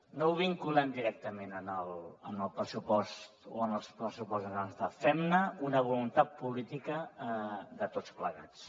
no ho vinculem directament al pressupost o als pressupostos generals de l’estat fem ne una voluntat política de tots plegats